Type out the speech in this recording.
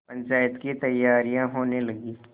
पंचायत की तैयारियाँ होने लगीं